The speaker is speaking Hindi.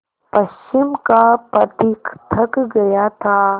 पश्चिम का पथिक थक गया था